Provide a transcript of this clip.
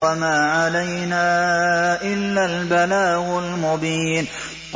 وَمَا عَلَيْنَا إِلَّا الْبَلَاغُ الْمُبِينُ